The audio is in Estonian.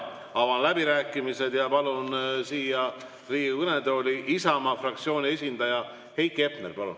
Avan läbirääkimised ja palun Riigikogu kõnetooli Isamaa fraktsiooni esindaja Heiki Hepneri.